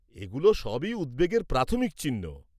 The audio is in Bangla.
এগুলো সবই উদ্বেগের প্রাথমিক চিহ্ন।